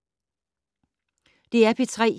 DR P3